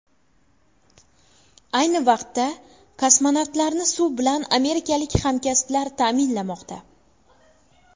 Ayni vaqtda kosmonavtlarni suv bilan amerikalik hamkasblar ta’minlamoqda.